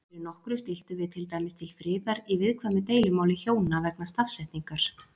Fyrir nokkru stilltum við til dæmis til friðar í viðkvæmu deilumáli hjóna vegna stafsetningar.